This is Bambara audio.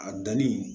A danni